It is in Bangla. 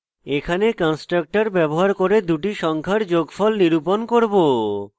এখানে constructor ব্যবহার করে দুটি সংখ্যা যোগফল নিরূপণ করব